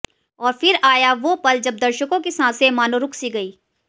और फिर आया वो पल जब दर्शकों की सांसें मानों रुक सी गईं